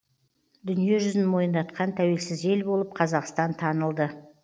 дүниежүзін мойындатқан тәуелсіз ел болып қазақстан танылды